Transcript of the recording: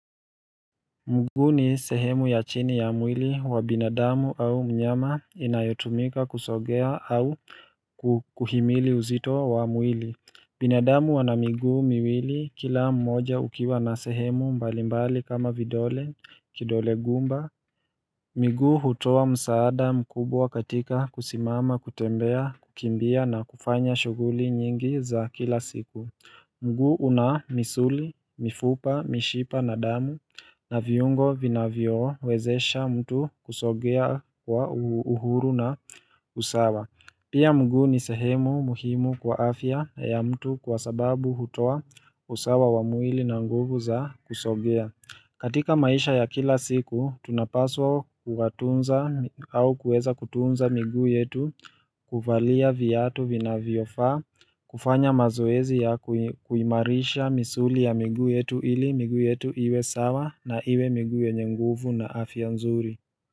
Mguu ni sehemu ya chini ya mwili wa binadamu au mnyama inayotumika kusogea au kuhimili uzito wa mwili. Binadamu ana miguu miwili kila mmoja ukiwa na sehemu mbalimbali kama vidole kidole gumba. Miguu hutoa msaada mkubwa katika kusimama kutembea kukimbia na kufanya shughuli nyingi za kila siku. Mguu una misuli, mifupa, mishipa na damu na viungo vinavyowezesha mtu kusogea kwa uhuru na usawa. Pia mguu ni sehemu muhimu kwa afya ya mtu kwa sababu hutoa usawa wa mwili na nguvu za kusogea. Katika maisha ya kila siku, tunapaswa kuwatunza au kuweza kutunza miguu yetu kuvalia viatu vinavyofaa, kufanya mazoezi ya kuimarisha misuli ya miguu yetu ili, miguu yetu iwe sawa na iwe miguu yenye nguvu na afya nzuri.